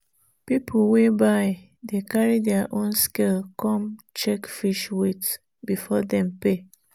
people wey buy dey carry their own scale come check fish weight before dem pay.